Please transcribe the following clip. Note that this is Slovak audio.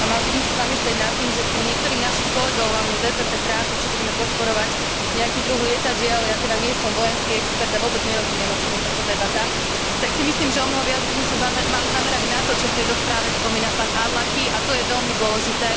Mali by sme sa zamyslieť nad tým, že kým niektorých našich kolegov, hlavne z EPP, trápi, či budeme podporovať nejaký druh lietadiel ja teda nie som vojenský expert a vôbec nerozumiem, o čom je táto debata tak si myslím, že omnoho viac by sme sa mali zamerať na to, čo v tejto správe spomína pán Arlacchi, a to je veľmi dôležité.